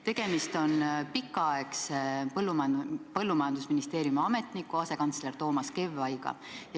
Tegemist on Maaeluministeeriumi pikaaegse ametniku, asekantsler Toomas Kevvaiga.